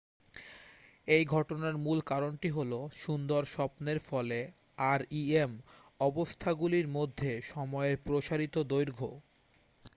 এই ঘটনার মূল কারণটি হলো সুন্দর স্বপ্নের ফলে rem অবস্থাগুলির মধ্যে সময়ের প্রসারিত দৈর্ঘ্য